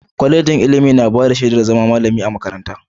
Kwalejin ilimi na bada shedar zama malamin makaranta.